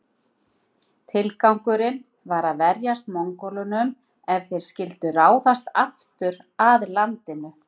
Tilgangurinn var að verjast Mongólunum ef þeir skyldu ráðast aftur að landinu.